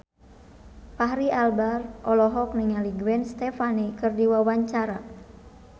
Fachri Albar olohok ningali Gwen Stefani keur diwawancara